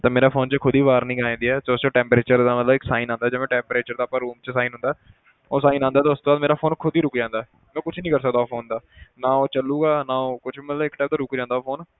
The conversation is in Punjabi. ਤਾਂ ਮੇਰੇ phone 'ਚ ਖੁੱਦ ਹੀ warning ਆ ਜਾਂਦੀ ਹੈ ਤੇ ਉਸ time temperature low ਦਾ ਇੱਕ sign ਆਉਂਦਾ ਜਿਵੇਂ temperature ਦਾ ਆਪਾਂ room 'ਚ sign ਹੁੰਦਾ ਉਹ sign ਆਉਂਦਾ ਤੇ ਉਸ ਤੋਂ ਬਾਅਦ ਮੇਰਾ phone ਖੁੱਦ ਹੀ ਰੁੱਕ ਜਾਂਦਾ ਹੈ ਮੈਂ ਕੁਛ ਨੀ ਕਰ ਸਕਦਾ ਉਹ phone ਦਾ ਨਾ ਉਹ ਚੱਲੇਗਾ ਨਾ ਉਹ ਕੁਛ ਮਤਲਬ ਇੱਕ type ਦਾ ਰੁੱਕ ਜਾਂਦਾ ਉਹ phone